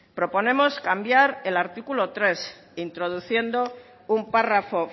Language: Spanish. proponemos cambiar el artículo tres introduciendo un párrafo